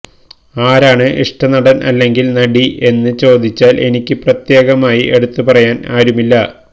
ആരാണ് ഇഷ്ടനടന് അല്ലെങ്കില് നടി എന്ന് ചോദിച്ചാല് എനിക്ക് പ്രത്യേകമായി എടുത്തു പറയാന് ആരുമില്ല